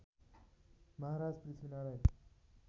Maharaj Prithvi Narayan